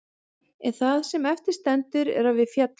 En það sem eftir stendur er að við féllum.